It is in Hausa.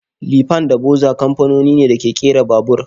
Lifan da boxer kamfanoni ne da ke kera babur.